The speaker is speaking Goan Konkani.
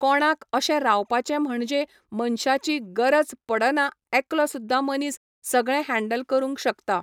कोणाक अशें रावपाचें म्हणजे मनशाची गरज पडना एकलो सुद्दां मनीस सगळें हँडल करूंक शकता.